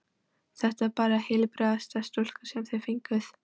Þetta er bara heilbrigðasta stúlka sem þið fenguð.